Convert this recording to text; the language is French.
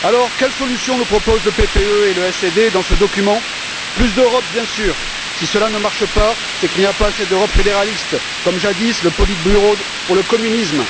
Quelles solutions nous proposent le PPE et le SD dans ce document? Plus d'Europe, bien sûr. Si cela ne marche pas, c'est qu'il n'y a pas assez d'Europe fédéraliste, comme jadis le politburo pour le communisme.